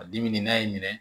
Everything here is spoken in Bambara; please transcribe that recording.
A dimi n'a y'i minɛ